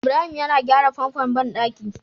Ibrahim yana gyra famfon banɗaki